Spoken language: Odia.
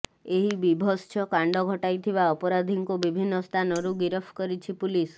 ଏହି ବିଭତ୍ସ କାଣ୍ଡ ଘଟାଇଥିବା ଅପରାଧୀଙ୍କୁ ବିଭିନ୍ନ ସ୍ଥାନରୁ ଗିରଫ କରିଛି ପୁଲିସ